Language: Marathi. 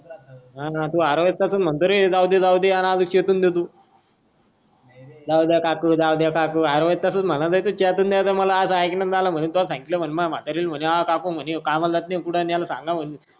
हा तू हर तस च म्हणतो रे जाऊदे जाऊदे अन असं चेतवून देतो नय रे जाऊद्या काकू जाऊद्या काकू हर वेळेस तसाचम्हणाला तू चेतवून द्याचा असं मला ऐक्यनात आलंय त्वा सांगेतलं म्हणून माह म्हतारी ला म्हणे हा काकू हा कामाला जात नाय कुठं याला सांगा म्हणून